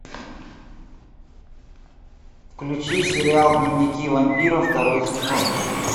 включи сериал дневники вампира второй сезон